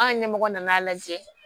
An ɲɛmɔgɔ nan'a lajɛ